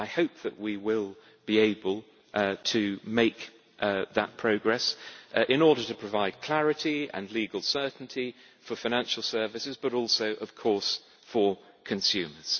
I hope that we will be able to make that progress, in order to provide clarity and legal certainty for financial services, but also for consumers.